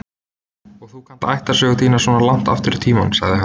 Og þú kannt ættarsögu þína svona langt aftur í tímann, sagði hann.